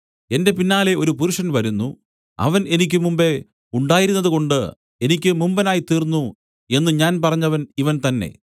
എന്റെ പിന്നാലെ ഒരു പുരുഷൻ വരുന്നു അവൻ എനിക്ക് മുമ്പെ ഉണ്ടായിരുന്നതുകൊണ്ട് എനിക്ക് മുമ്പനായി തീർന്നു എന്നു ഞാൻ പറഞ്ഞവൻ ഇവൻ തന്നേ